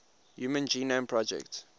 human genome project